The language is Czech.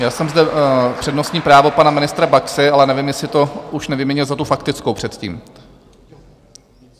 Měl jsem zde přednostní právo pana ministra Baxy, ale nevím, jestli to už nevyměnil za tu faktickou předtím.